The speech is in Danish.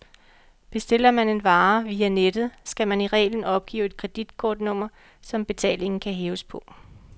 Bestiller man en vare via nettet, skal man i reglen opgive et kreditkortnummer, som betalingen kan hæves på.